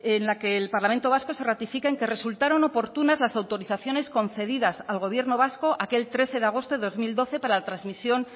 en la que el parlamento vasco se ratifica en que resultaron oportunas las autorizaciones concedidas al gobierno vasco aquel trece de agosto de dos mil doce para la transmisión